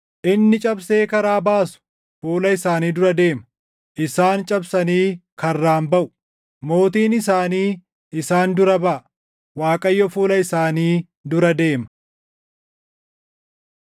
Inni cabsee karaa baasu fuula isaanii dura deema; isaan cabsanii karraan baʼu. Mootiin isaanii isaan dura baʼa; Waaqayyo fuula isaanii dura deema.”